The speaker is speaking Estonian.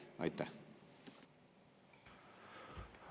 Aitäh!